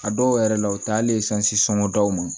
A dɔw yɛrɛ la u tɛ hali sanjisɔn daw ma